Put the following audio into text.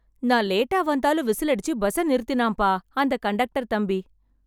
நான் லேட்டா வந்தாலும் விசிலடிச்சு பஸ்ஸை நிறுத்தினாம்பா அந்த கண்டக்டர் தம்பி.